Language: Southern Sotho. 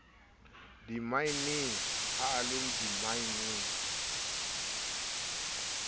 dimmaeneng ha a le dimmaeneng